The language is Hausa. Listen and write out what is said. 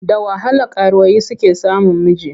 Da wahala karuwai suke samun miji.